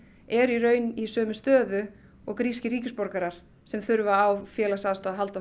eru í raun í sömu stöðu og grískir ríkisborgarar sem þurfa á félagsaðstoð að halda